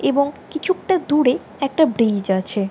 এবং কিছুকটা দূরে একটা ব্রিজ আছে।